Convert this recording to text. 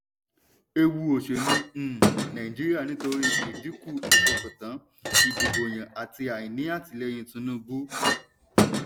ewu òṣèlú um nàìjíríà nítorí ìdìnkú ìfọkàntàn ìdìbòyàn àti àìní àtìlẹ́yìn tinubu.